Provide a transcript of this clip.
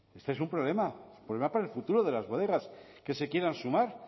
este es un problema un problema para el futuro de las bodegas que se quieran sumar